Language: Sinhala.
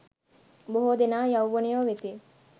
බොහෝ දෙනා යෞවනයෝ වෙති.